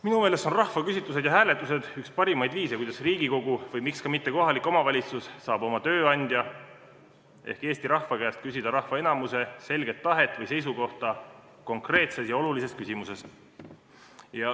Minu meelest on rahvaküsitlused ja -hääletused üks parimaid viise, kuidas Riigikogu või miks mitte ka kohalik omavalitsus saab oma tööandja ehk Eesti rahva käest küsida rahva enamuse selget tahet või seisukohta konkreetses ja olulises küsimuses.